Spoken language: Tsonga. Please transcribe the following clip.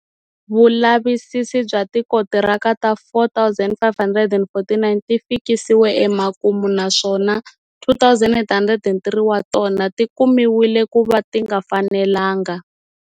Vulavisisi bya tikontiraka ta 4 549 ti fikisiwe emakumu, naswona 2 803 wa tona ti kumiwile ku va ti nga fanelanaga.